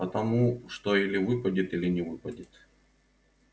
потому что или выпадет или не выпадет